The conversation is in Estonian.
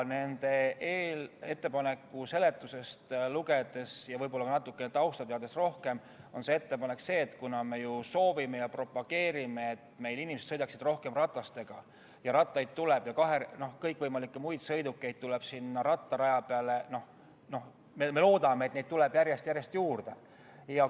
Nende ettepaneku seletust lugedes ja võib-olla ka natukene rohkem tausta teades, on ettepaneku selles, et me soovime ja propageerime, et inimesed sõidaksid rohkem ratastega, ning rattaid ja kõikvõimalikke muid sõidukeid tuleb rattaraja peale juurde – me loodame, et neid tuleb järjest rohkem juurde.